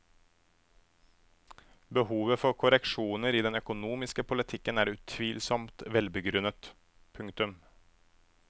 Behovet for korreksjoner i den økonomiske politikken er utvilsomt velbegrunnet. punktum